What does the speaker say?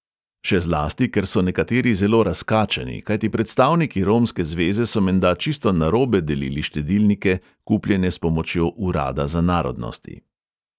Še zlasti, ker so nekateri zelo razkačeni, kajti predstavniki romske zveze so menda čisto narobe delili štedilnike, kupljene s pomočjo urada za narodnosti.